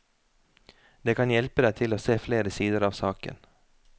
Det kan hjelpe deg til å se flere sider av saken.